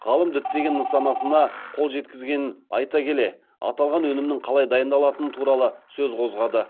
ғалым діттеген нысанасына қол жеткізгенін айта келе аталған өнімнің қалай дайындалатыны туралы сөз қозғады